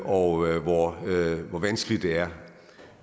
og hvor vanskeligt det er